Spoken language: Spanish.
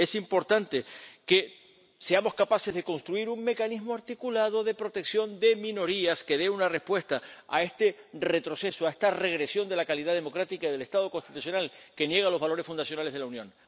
Es importante que seamos capaces de construir un mecanismo articulado de protección de minorías que dé una respuesta a este retroceso, a esta regresión de la calidad democrática del Estado constitucional que niega los valores fundacionales de la Unión.